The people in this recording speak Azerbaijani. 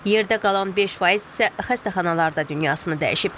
Yerdə qalan 5 faiz isə xəstəxanalarda dünyasını dəyişib.